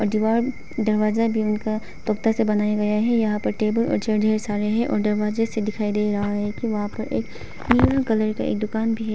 दिवार दरवाजा भी उनका टोकता से बनाया गया है यहां पे टेबल और जेड है सारे है और दरवाजे से दिखाई दे रहे हैं की वहां पर एक ब्लू कलर का एक दुकान भी है।